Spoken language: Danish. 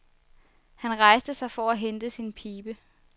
Han rejste sig for at hente sin pibe.